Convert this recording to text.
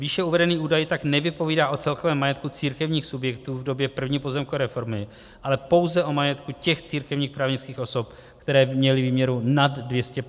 Výše uvedený údaj tak nevypovídá o celkovém majetku církevních subjektů v době první pozemkové reformy, ale pouze o majetku těch církevních právnických osob, které měly výměru nad 250 tisíc hektarů.